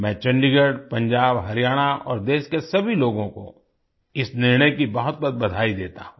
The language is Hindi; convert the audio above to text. मैं चंडीगढ़ पंजाब हरियाणा और देश के सभी लोगों को इस निर्णय की बहुतबहुत बधाई देता हूँ